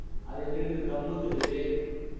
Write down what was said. அது இங்க இருக்குது